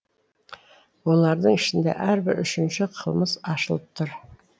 олардың ішінде әрбір үшінші қылмыс ашылып тұр